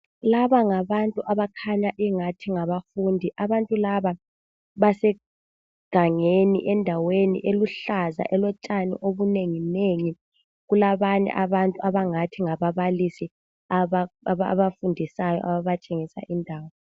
Laba ngabantu abakhanya ingathi ngabafundi, abantu laba basegangeni endaweni eluhlaza elotshani obunenginengi. Kulabanye abangathi ngababalisi ababafundisayo a abatshengisa indawo.